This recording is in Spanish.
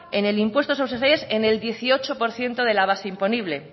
en el impuesto de sociedades en el dieciocho por ciento de la base imponible